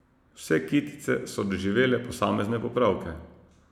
Vse kitice so doživele posamezne popravke.